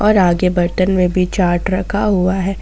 और आगे बर्तन में भी चाट रखा हुआ है।